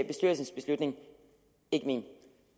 bestyrelsens beslutning ikke min